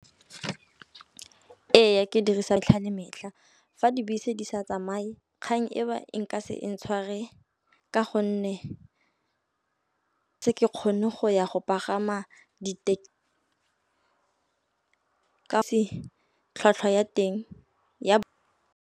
Eya, ke dirisa tlha le metlha fa dibese di sa tsamaye kgang e ba e nka se ntshware ka gonne se ke kgone go ya go pagama di ka fa tlhwatlhwa ya teng ya.